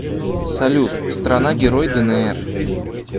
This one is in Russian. салют страна герой днр